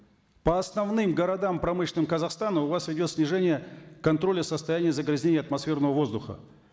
по основным городам промышленным казахстана у вас идет снижение контроля состояния загрязнения атмосферного воздуха